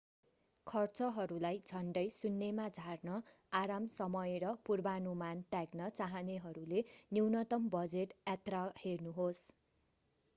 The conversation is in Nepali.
खर्चहरूलाई झन्डै शुन्यमा झार्न आराम समय र पूर्वानुमान त्याग्न चाहनेहरूले न्यूनतम बजेट यात्रा हेर्नुहोस्